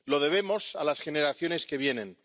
Se lo debemos a las generaciones que vienen.